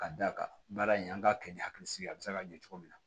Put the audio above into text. Ka d'a kan baara in an k'a kɛ ni hakili sigi ye a bɛ se ka ɲɛ cogo min na